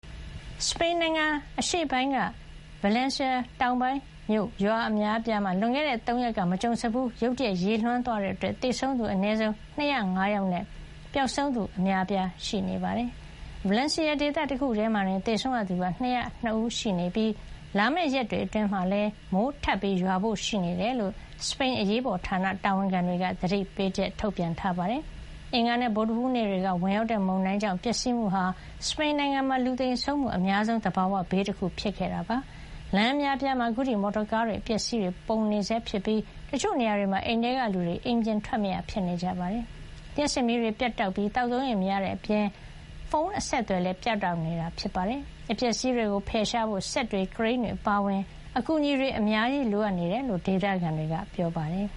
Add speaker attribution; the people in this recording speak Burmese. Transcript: Speaker 1: စပိန်နိုင်ငံ အရှေ့ပိုင်းဒေသ Valencia ဗလန်းစီယာ တောင်ပိုင်းမြို့ရွာ အများအပြားမှာ လွန်ခဲ့တဲ့ ၃ ရက်က မကြုံစဖူး ရုတ်တရက် ရေလွှမ်းသွားတဲ့အတွက် သောကြာနေ့အထိဆိုရင် သေဆုံးသူ အနည်းဆုံး ၂၀၅ ယောက်နဲ့ ပျောက်ဆုံးသူ အများအပြား ရှိနေပါတယ်။ ဗလန်းစီယာ ဒေသ တခုထဲမှာတင် သေဆုံးရသူ ၂၀၂ ဦး ရှိနေပြီး လာမယ့် ရက်တွေအတွင်းမှာလည်း မိုးထပ်ရွာဖို့ ရှိနေတယ်လို့ စပိန် အရေးပေါ်ဌာန တာဝန်ခံတွေက သတိပေးထားပါတယ်။ အင်္ဂါနဲ့ ဗုဒ္ဓဟူးနေ့တွေက ဝင်ရောက်တဲ့ မုန်တိုင်းကြောင့် ပျက်စီးမှုဟာ စပိန်နိုင်ငံမှာ လူသေဆုံးမှု အများဆုံး သဘာဝဘေးတခု ဖြစ်ခဲ့တာပါ။ လမ်းအများအပြားမှာ အခုထိ မော်တော်ကားတွေ၊ အပျက်အစီးတွေ ပုံနေဆဲဖြစ်ပြီး တချို့ နေရာတွေမှာ အိမ်ထဲက လူတွေ အိမ်ပြင် ထွက်မရ ဖြစ်နေကြပါတယ်။ လျှပ်စစ်မီးတွေ ပြတ်တောက်နေပြီး သောက်သုံးရေ မရတဲ့အပြင် ဖုန်း အဆက်အသွယ်လည်း ပြတ်တောက်နေတာပါ။ အပျက်အစီးတွေကို ဖယ်ရှားဖို့ စက်တွေ၊ ကရိန်းတွေ အပါအဝင် အကူအညီတွေ အများကြီး လိုအပ်နေတယ်လို့ ဒေသခံတွေက ပြောပါတယ်